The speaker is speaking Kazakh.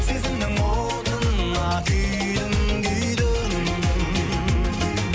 сезімнің отына күйдім күйдім